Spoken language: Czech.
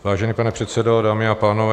Vážený pane předsedo, dámy a pánové.